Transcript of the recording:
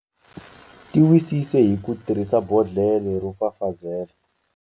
Tiwisise hi ku tirhisa bodhlela ro fafazela.